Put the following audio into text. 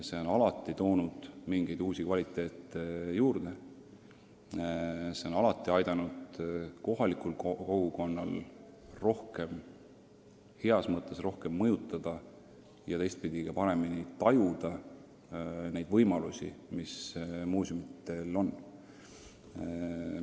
See on alati tekitanud mingeid uusi kvaliteete ja aidanud kohalikul kogukonnal heas mõttes rohkem mõjutada ja teistpidi ka paremini tajuda võimalusi, mis muuseumidel on.